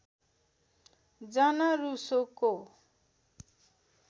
जन रूसोको